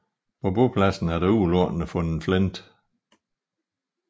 På bopladsen er der udelukkende fundet flint